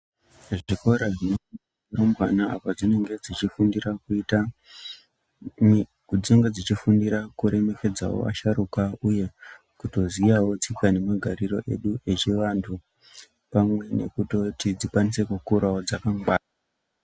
Zvikora zvinearumbwana apa padzinenge dzechi fundira, padzinenge dzichifundira ku remekedzawo asharuka uye kutoziyawo tsika ne magariro edu echi vantu pamwe nekutoti dzikwanise kukurawo dzakagwara.